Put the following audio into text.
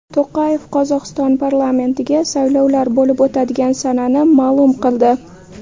To‘qayev Qozog‘iston parlamentiga saylovlar bo‘lib o‘tadigan sanani ma’lum qildi.